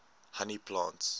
honey plants